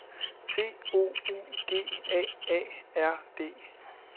T O U G A A R D